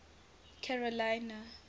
carolina